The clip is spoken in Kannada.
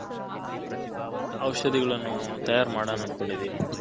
ಔಷದಿಗಲ್ಲನು ತಯಾರ್ ಮಾಡನ ಅಂಥ್ಕೊಂದಿದನಿ.